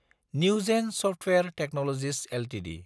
Newgen software technologies Ltd